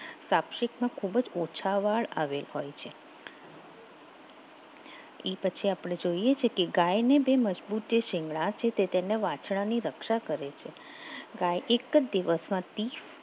સાક્ષીમાં ખૂબ જ ઓછા વાળ આવેલ હોય છે એ પછી આપણે જોઈએ છે કે ગાયને તે મજબૂતી શિંગડા છે તે તેના વાછરડાની રક્ષા કરે છે ગાય એક જ દિવસમાં તીસ